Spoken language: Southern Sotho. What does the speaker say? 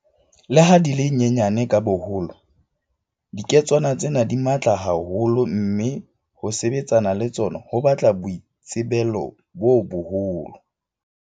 Leha di le nyenyane ka boholo, dike tswana tsena di matla ha holo mme ho sebetsana le tsona ho batla boitsebelo bo boholo.